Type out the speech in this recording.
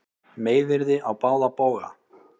Meiðyrði á báða bóga